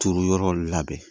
Turu yɔrɔw labɛn